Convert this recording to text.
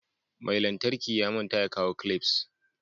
Mai lantarki ya manta ya kawo "clips".